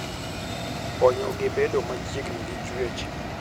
Konyogi bedo machiegni gi chwech.